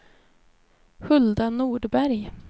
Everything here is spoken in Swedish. Hulda Nordberg